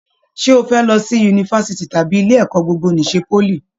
Ṣe o fẹ lọ sí yunifásítì tàbí ilé ẹ̀kọ́ gbogbo n'isè poly?